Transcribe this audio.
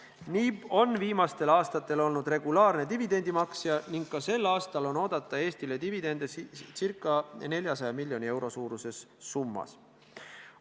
NIB on viimastel aastatel olnud regulaarne dividendimaksja ning ka sel aastal on oodata Eestile dividende ca 400 miljoni euro suuruses summas.